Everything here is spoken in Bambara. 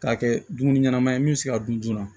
K'a kɛ dumuni ɲɛnama ye min bɛ se ka dun joona